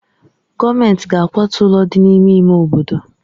Gọọmentị ga-akwatu ụlọ ndị dị n'ime ime obodo.